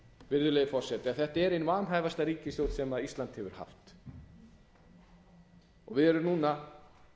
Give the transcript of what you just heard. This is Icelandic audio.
virðulegi forseti að þetta er ein vanhæfasta ríkisstjórn sem ísland hefur haft og við erum núna